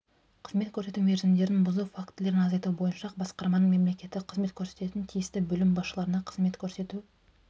қызмет көрсету мерзімдерін бұзу фактілерін азайту бойынша басқарманың мемлекеттік қызмет көрсететін тиісті бөлім басшыларына қызмет көрсету